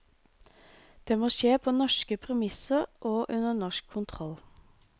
Dette må skje på norske premisser og under norsk kontroll.